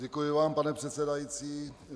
Děkuji vám, pane předsedající.